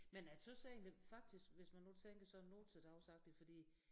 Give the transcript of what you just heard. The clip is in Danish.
Men jeg tøs egentlig faktisk hvis man nu tænker sådan nu til dags agtig fordi